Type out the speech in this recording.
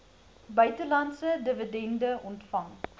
buitelandse dividende ontvang